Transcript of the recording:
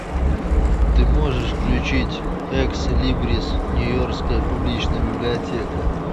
ты можешь включить экслибрис нью йоркская публичная библиотека